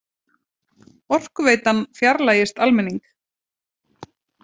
Orkuveitan fjarlægist almenning